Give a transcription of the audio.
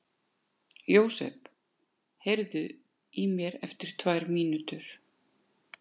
Jósep, heyrðu í mér eftir tvær mínútur.